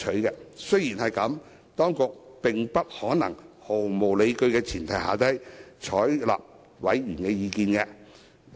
儘管如此，當局並不可能連毫無理據的委員意見也一併採納。